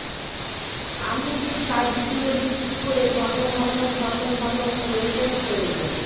আমি যে কাজগুলো বিক্রি করে ঘন ঘন ঘন ঘন প্রয়োজন প্রয়োজন